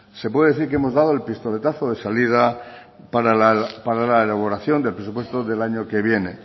se puede decir que hemos dado el pistoletazo de salida para la elaboración del presupuesto del año que viene